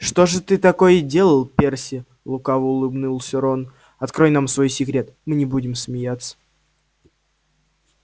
что же ты такое делал перси лукаво улыбнулся рон открой нам свой секрет мы не будем смеяться